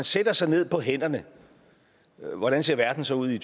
sætter sig ned på hænderne hvordan ser verden så ud i